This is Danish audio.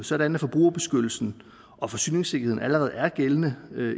sådan at forbrugerbeskyttelsen og forsyningssikkerheden allerede er gældende